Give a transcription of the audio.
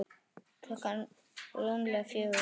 Klukkan rúmlega fjögur.